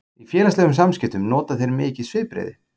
Í félagslegum samskiptum nota þeir mikið svipbrigði.